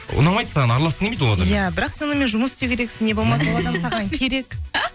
ұнамайды саған араласқың келмейді ол бірақ сонымен жұмыс істеу керексің не болмаса